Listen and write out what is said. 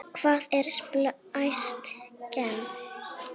Hvað er splæst gen?